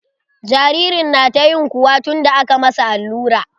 Jaririn na ta ƴin kuwa tun da aka masa allura.